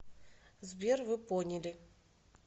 сбер вы поняли